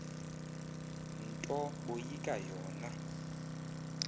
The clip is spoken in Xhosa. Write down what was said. nto boyika yona